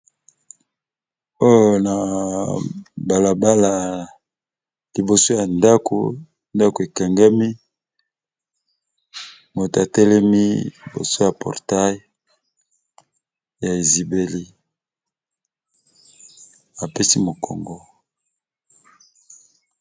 Oyo balabala libiso ya ndaku nndaku ekangami moto atelemi libiso ya portail ezibeli apesi mokongo